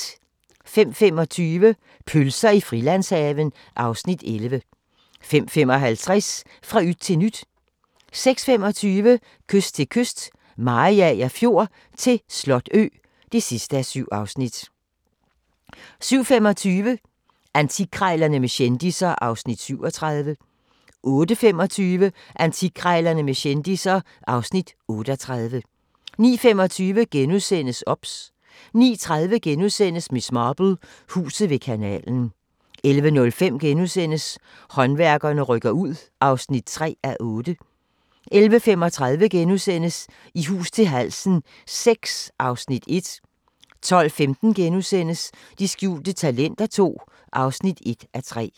05:25: Pølser i Frilandshaven (Afs. 11) 05:55: Fra yt til nyt 06:25: Kyst til kyst - Mariager Fjord til Slotø (7:7) 07:25: Antikkrejlerne med kendisser (Afs. 37) 08:25: Antikkrejlerne med kendisser (Afs. 38) 09:25: OBS * 09:30: Miss Marple: Huset ved kanalen * 11:05: Håndværkerne rykker ind (3:8)* 11:35: I hus til halsen VI (Afs. 1)* 12:15: De skjulte talenter II (1:3)*